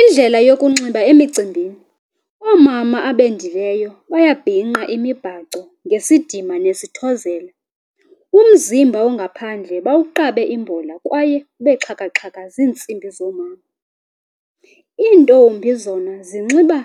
Indlela yokunxiba emicimbini. Oomama abendileyo bayabhinqa imibhaco ngesidima nesithozelo. Umzimba ongaphandle bawuqabe imbola kwaye ube xhakaxhaka ziintsibi zoomama. Iintombi zona zinxiba